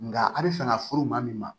Nka a bɛ fɛ ka furu maa min ma